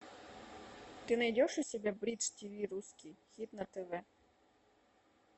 ты найдешь у себя бридж тв русский хит на тв